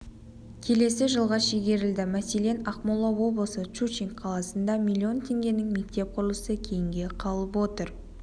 келесі жылға шегерілді мәселен ақмола облысы щучинск қаласында миллион теңгенің мектеп құрылысы кейінге қалып отыр